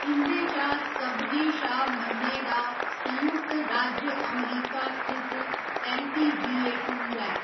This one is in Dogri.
इं'दे चा सभनें शा मन्ने दा संयुक्त राज्य अमरीका स्थित ऐल्लपीजीए टूर ऐ।